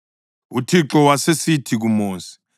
UThixo wasesithi kuMosi,